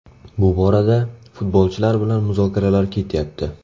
Bu borada futbolchilar bilan muzokaralar ketyapti.